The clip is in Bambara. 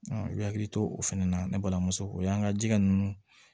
i bɛ hakili to o fana na ne balimamuso o y'an ka jɛgɛ ninnu